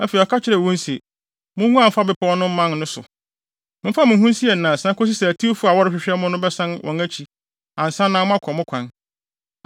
Afei ɔka kyerɛɛ wɔn se, “Munguan mfa bepɔw so man no so. Momfa mo ho nsie nnansa kosi sɛ atiwfo no a wɔrehwehwɛ mo no bɛsan wɔn akyi ansa na moakɔ mo kwan.”